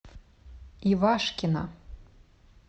ивашкина